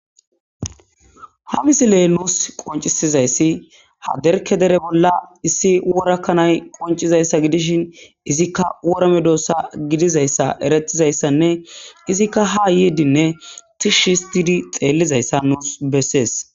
Ha misilee nuus qoncisizayssi ha derke dere bolla issi worakkanay qoncizayssa gidishin izikka worame doossa gidizayssa eretizayssanne izikka ha yidinne tishshistidi xeellizayssa nuus bessees.